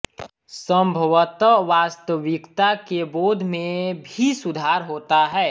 संभवतः वास्तविकता के बोध में भी सुधार होता है